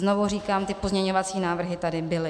Znovu říkám, ty pozměňovací návrhy tady byly.